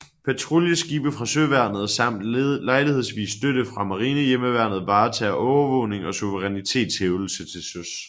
Patruljeskibe fra søværnet samt lejlighedsvis støtte fra Marinehjemmeværnet varetager overvågning og suverænitetshævdelse til søs